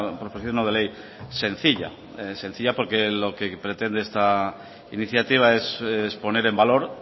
proposición no de ley sencilla sencilla porque lo que pretende esta iniciativa es poner en valor